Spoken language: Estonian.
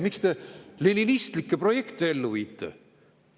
Miks te leninistlikke projekte ellu viite?